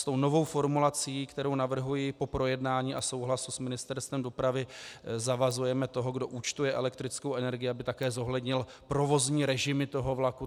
S tou novou formulací, kterou navrhuji po projednání a souhlasu s Ministerstvem dopravy, zavazujeme toho, kdo účtuje elektrickou energii, aby také zohlednil provozní režimy toho vlaku.